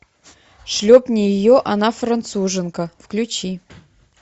шлепни ее она француженка включи